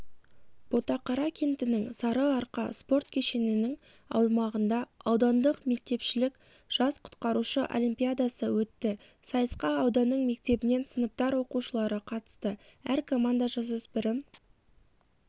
ботақара кентінің сары-арқа спорт кешенінің аумағында аудандық мектепшілік жас құтқарушы олимпиадасы өтті сайысқа ауданның мектебінен сыныптар оқушылары қатысты әр команда жасөспірім